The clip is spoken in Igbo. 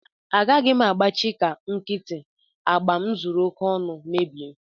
Agaghị m agbachị ka nkịtị agba m zuru oke ọnụ mebie